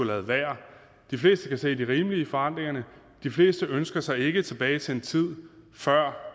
ladet være de fleste kan se det rimelige i forandringerne de fleste ønsker sig ikke tilbage til tiden før